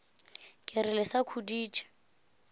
ke re le sa khuditše